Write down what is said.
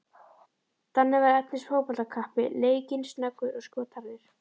Danni var efnis fótboltakappi, leikinn, snöggur og skotharður.